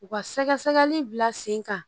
U ka sɛgɛsɛgɛli bila sen kan